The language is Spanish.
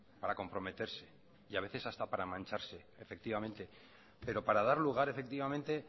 para comprometerse y a veces hasta para mancharse efectivamente pero para dar lugar efectivamente